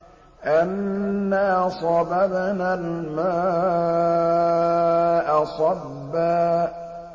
أَنَّا صَبَبْنَا الْمَاءَ صَبًّا